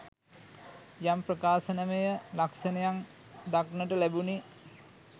යම් ප්‍රකාශනමය ලක්ෂණයන් දක්නට ලැබුණි